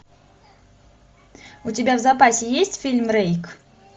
у тебя в запасе есть фильм рейк